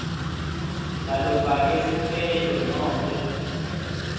lalofake sicelo nobe